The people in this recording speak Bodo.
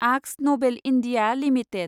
Akzo Nobel India limited